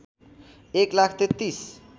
१ lakh ३३